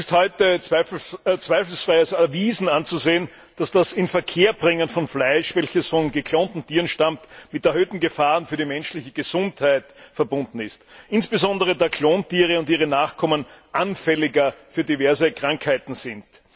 Es ist heute als zweifelsfrei erwiesen anzusehen, dass das Inverkehrbringen von Fleisch, welches von geklonten Tieren stammt, mit erhöhten Gefahren für die menschliche Gesundheit verbunden ist, insbesondere da Klontiere und ihre Nachkommen anfälliger für diverse Krankheiten sind.